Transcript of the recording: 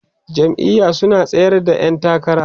jam'iya su na tsayar da ƴan takara